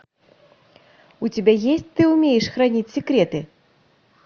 у тебя есть ты умеешь хранить секреты